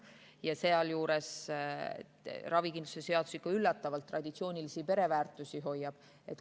Ravikindlustuse seadus ikka üllatavalt traditsioonilisi pereväärtusi.